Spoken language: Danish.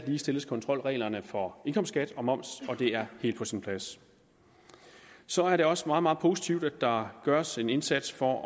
ligestilles kontrolreglerne for indkomstskat og moms og det er helt på sin plads så er det også meget meget positivt at der gøres en indsats for